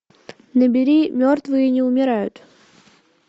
набери мертвые не умирают